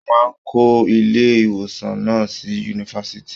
Wọ́n máa ń kọ́ ilé-ìwòsàn náà sí yunifásitì.